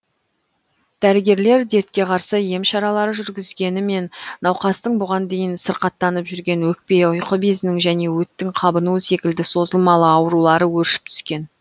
дәрігерлер дертке қарсы ем шаралар жүргізгенімен науқастың бұған дейін сырқаттанып жүрген өкпе ұйқы безінің және өттің қабынуы секілді созылмалы аурулары өршіп түскен